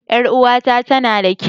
Ƴar uwata tana da kau